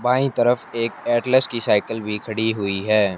बाईं तरफ एक एटलस की साइकिल भी खड़ी हुई है।